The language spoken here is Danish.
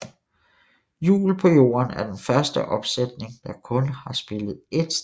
Jul på Jorden er den første opsætning der kun har spillet ét sted